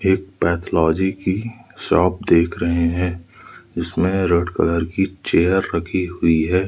एक पैथोलॉजी की शॉप देख रहे हैं इसमे रेड कलर की चेयर रखी हुई है।